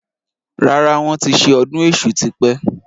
Rárá, wọn ti ṣe ọdún èṣù tí pẹ́